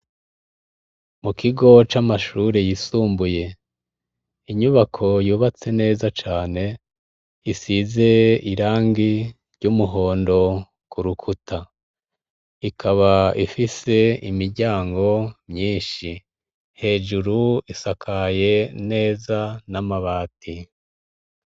Mu kigo camashure yisumbuye inyubako yubatse neza cane, isize irangi ry'umuhondo kurukuta ikaba Ifise imiryango myinshi, hejuru isakaye neza namabati.